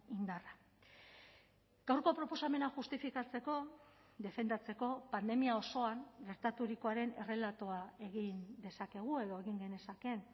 indarra gaurko proposamena justifikatzeko defendatzeko pandemia osoan gertaturikoaren errelatoa egin dezakegu edo egin genezakeen